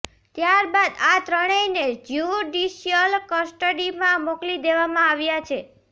ત્યારબાદ આ ત્રણેયને જ્યુડીશ્યલ કસ્ટડીમાં મોકલી દેવામાં આવ્યા છે